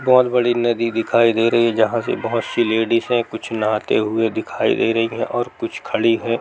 बहुत बड़ी नदी दिखाई दे रही है जहाँ से बहुत सी लेडीज हैं | कुछ नहाते हुए दिखाई दे रही हैं और कुछ खड़ी हैं ।